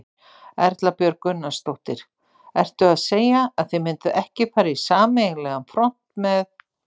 Erla Björg Gunnarsdóttir: Ertu að segja að þið mynduð ekki fara í sameiginlegan front með-?